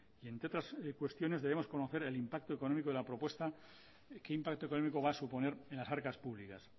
y entre otras cuestiones debemos conocer el impacto económico de la propuesta y qué impacto económico va a suponer en las arcas públicas